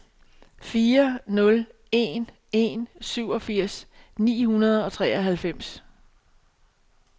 fire nul en en syvogfirs ni hundrede og treoghalvfems